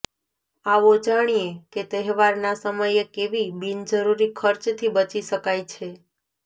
આવો જાણીએ કે તહેવારના સમયે કેવી બિનજરૂરી ખર્ચ થી બચી શકાય છે